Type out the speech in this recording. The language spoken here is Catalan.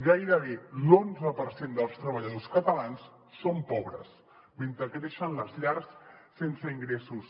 gairebé l’onze per cent dels treballadors catalans són pobres mentre creixen les llars sense ingressos